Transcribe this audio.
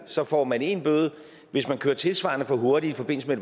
så får man én bøde hvis man kører tilsvarende for hurtigt i forbindelse med